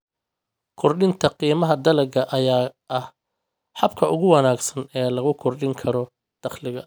Kordhinta qiimaha dalagga ayaa ah habka ugu wanaagsan ee lagu kordhin karo dakhliga.